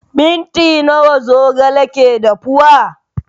Minti nawa zogale ke dafuwa?